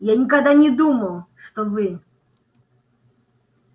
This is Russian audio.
я никогда не думал что вы